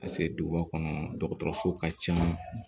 Paseke duguba kɔnɔ dɔgɔtɔrɔso ka ca